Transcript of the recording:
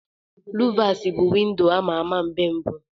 Luvasi bụ windo a ma-ama mgbe mbu.